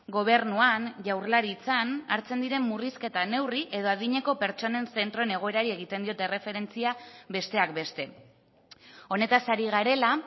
gobernuan jaurlaritzan hartzen diren murrizketa neurri edo adineko pertsonen zentroen egoerari egiten diot erreferentzia besteak beste honetaz ari garela